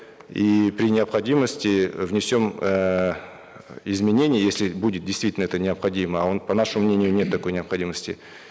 и при необходимости внесем эээ изменения если будет действительно это необходимо а по нашему мнению нет такой необходимости